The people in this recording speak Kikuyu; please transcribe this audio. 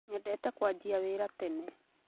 Nyendete kũanjia wĩra tene